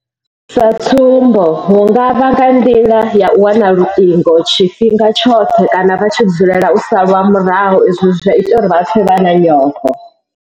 U tovhola sa tsumbo hu nga vha nga nḓila ya u wana luṱingo tshifhinga tshoṱhe kana vha tshi dzulela u salwa murahu izwi zwa ita uri vha pfe vha na nyofho.